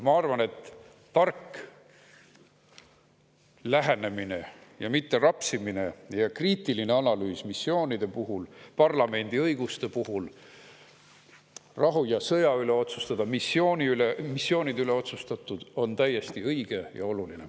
Ma arvan, et tark lähenemine, mitte rapsimine ja kriitiline analüüs missioonide puhul, parlamendi õiguste puhul rahu ja sõja üle otsustada ning missioonide üle otsustada on täiesti õige ja oluline.